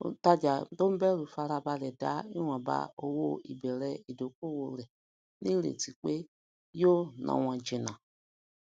onítajà ton bẹrù farabalẹ da iwonba owó ibere idokowo rè ni ireti pé yóò na won jìnà